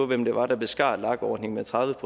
hvem det var der beskar lag ordningen med tredive